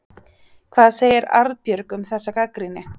Hvað segir Arnbjörg um þessa gagnrýni?